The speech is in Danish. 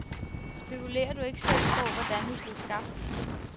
Spekulerer du ikke selv på, hvordan vi blev skabt?